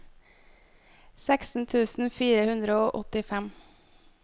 seksten tusen fire hundre og åttifem